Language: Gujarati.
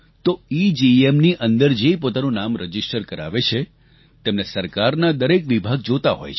તો ઇજીઇએમ ની અંદર જે પોતાનું નામ રજીસ્ટર કરાવે છે તેમને સરકારનાં દરેક વિભાગ જોતાં હોય છે